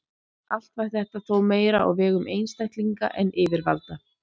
Allt var þetta þó meira á vegum einstaklinga en yfirvalda.